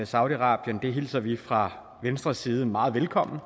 saudi arabien den hilser vi fra venstres side meget velkommen